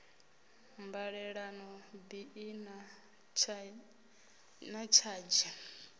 mbalelano bi i na tshadzhi